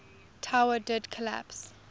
tower did collapse